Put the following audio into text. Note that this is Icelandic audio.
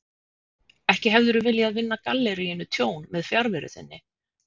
Ekki hefurðu viljað vinna galleríinu tjón með fjarveru þinni?